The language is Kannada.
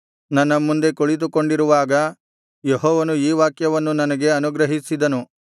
ನನ್ನ ಮುಂದೆ ಕುಳಿತುಕೊಂಡಿರುವಾಗ ಯೆಹೋವನು ಈ ವಾಕ್ಯವನ್ನು ನನಗೆ ಅನುಗ್ರಹಿಸಿದನು